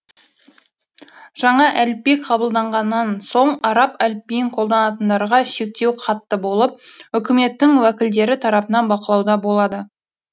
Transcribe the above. жаңа әліпби қабылданғаннан соң араб әліпбиін қолданатындарға шектеу қатты болып өкіметтің уәкілдері тарапынан бақылауда болады